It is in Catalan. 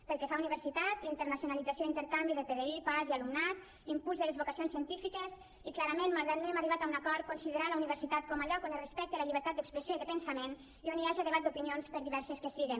pel que fa a universitat internacionalització i intercanvi de pdi pas i alumnat impuls de les vocacions científiques i clarament malgrat no hem arribat a un acord considerar la universitat com a lloc on es respecta la llibertat d’expressió i de pensament i on hi haja debat d’opinions per diverses que siguen